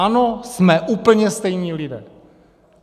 Ano, jsme úplně stejní lidé.